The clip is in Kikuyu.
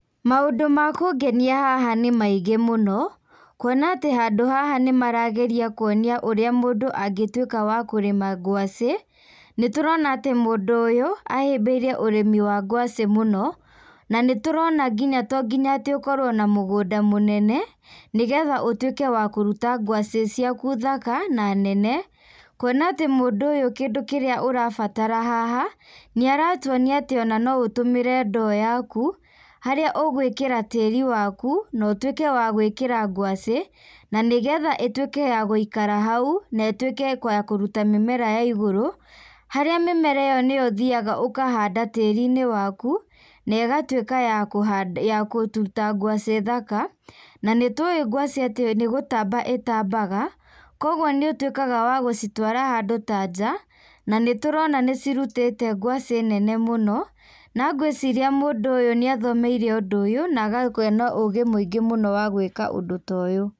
Maũndũ makũngenia haha nĩ maingĩ mũno, kuona atĩ handũ haha nĩmarageria kuonia ũrĩa mũndũ angĩtuĩka wa kũrĩma ngwaci, nĩtũrona atĩ mũndũ ũyũ, ahĩmbĩirie ũrĩmi wa ngwaci mũno, na nĩturona nginya tonginya atĩ ũkorwo na mũgũnda mũnene, nĩgetha ũtuĩke wa kũruta ngwaci ciaku thaka na nene, kuona atĩ mũndũ ũyũ kindũ kĩrĩa ũrabatara haha, nĩaratuonia atĩ ona no ũtũmĩre ndoo yaku, harĩa ũgwĩkĩra tĩĩri waku, na ũtuĩke wa gwĩkĩra ngwaci, na nĩgetha ĩtuĩke ya gũikara hau, na ĩtuĩke ya kũruta mĩmera ya igũrũ, harĩa mĩmera ĩyo nĩyo ũthioaga ũkahanda tĩĩrinĩ waku, negatuĩka ya kũhanda ya kũruta ngwaci thaka, na nĩtuĩ ngwaci atĩ nĩgũtamba ĩtambaga, koguo nĩũtuĩkaga wa gũcitwara handũ ta nja, na nĩtũrona nĩcirutĩte ngwaci nene mũno, na ngwĩciria mũndũ ũyũ nĩathomeire ũndũ ũyũ na agakorwo ena ũgĩ mũingĩ mũno wa gwĩka ũndũ ta ũyũ.